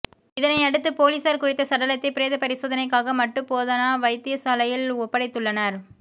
இதனையடுத்து பொலிசார் குறித்த சடலத்தை பிரேத பரிசோதனைக்காக மட்டு போதனா வைத்தியசாலையில் ஓப்படைத்துள்ளனர்